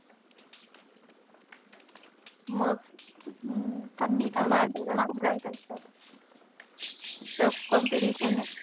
मग marks marks खूप लागतात. tough competition ए.